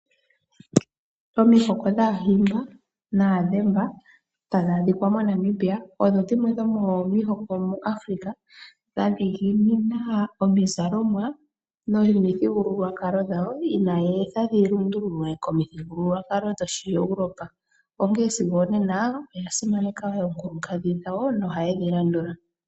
Omihoko dhaahimba naadhemba tadhi adhika moNamibia odho dhimwe dhomomihoko muAfrica dha dhiginina omizalomwa nomithigululwakalo dhawo inaya etha dhi lundululwe komithigululwakalo dhoshiEuropa onkene sigo onena oya simaneka oonkadhi dhawo nohaye dhi landula.